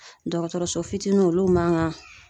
Dɔgɔtɔrɔso fitininw olu man gan